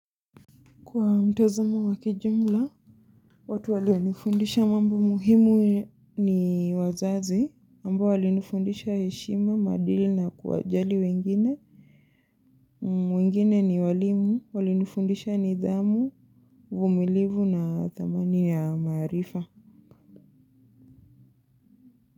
Kwa mtazamo wakijumla, watu wali nifundisha mambo muhimu ni wazazi, ambao wali nifundisha heshima, maadili na kuwajali wengine, wengine ni walimu, wali nifundisha nidhamu, uvumilivu na thamani ya maarifa.